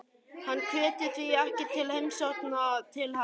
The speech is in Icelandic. Hann hvetur því ekki til heimsókna til hennar.